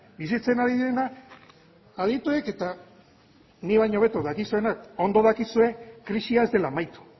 bizitzen ari direna adituek eta nik baino hobeto dakizuenak ondo dakizue krisia ez dela amaitu